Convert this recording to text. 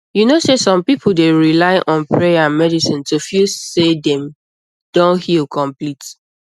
you know sey some people dey rely on prayer and medicine to feel say dem don heal complete